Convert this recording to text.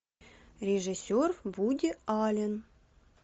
режиссер вуди аллен